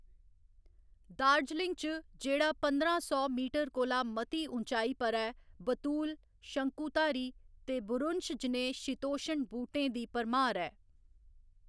दार्जिलिंग च, जेह्‌‌ड़ा पंदरां सौ मीटर कोला मती ऊँचाई पर ऐ, बलूत, शंकुधारी ते बुरुंश जनेह् शीतोश्ण बूह्‌‌टें दी भरमार ऐ।